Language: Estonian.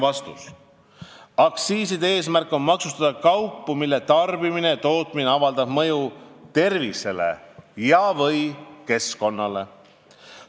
" Aktsiiside eesmärk on maksustada kaupu, mille tarbimine ja tootmine avaldab mõju tervisele ja/või keskkonnale.